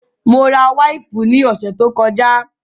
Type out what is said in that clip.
Mo ra wáìpù ní ọ̀sẹ̀ tó kọjá